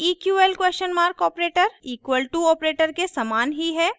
eql operator equal to operator के सामान ही है